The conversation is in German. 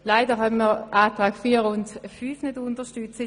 Leider können wir die Anträge 4 und 5 nicht unterstützen.